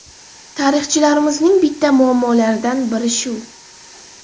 Tarixchilarimizning bitta muammolaridan biri shu.